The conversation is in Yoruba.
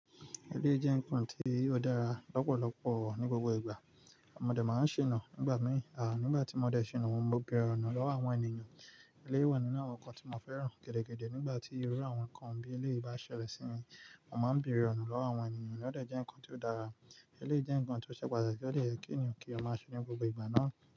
Ilé jẹ́ nǹkan tí ó dára lọ́pọ̀lọpọ̀ ní gbogbo ìgbà. Mọ dé máa ń ṣìnà nígbà mìíràn. À nígbà tí mọ dé ṣìnà wọ́n máa ń bèrè ọ̀nà lọ́wọ́ àwọn ènìyàn. Ilé wà nínú àwọn nǹkan tí mo fẹ́ràn gẹ́dẹ́ gẹ́dẹ́. Nígbà tí irú àwọn nǹkan bí ilé bá ṣẹlẹ̀ sí mi, mo máa ń bèrè ọ̀nà lọ́wọ́ àwọn ènìyàn. Ó de jẹ́ nǹkan tí ó dára. Ilé jẹ́ nǹkan tí ó ṣe pàtàkì ó lè yẹ kí ènìyàn kí ó máa ṣé ní gbogbo ìgbà náà.